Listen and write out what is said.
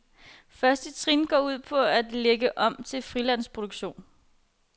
Første trin går ud på at lægge om til frilandsproduktion.